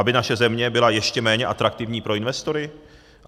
Aby naše země byla ještě méně atraktivní pro investory?